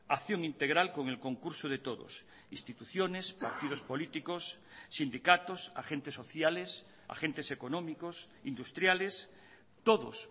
acción integral con el concurso de todos instituciones partidos políticos sindicatos agentes sociales agentes económicos industriales todos